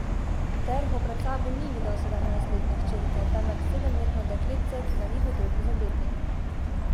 Terho pred sabo ni videl sedemnajstletne hčerke, temveč sedemletno dekletce, ki ga ni hotel prizadeti.